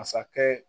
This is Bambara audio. Masakɛ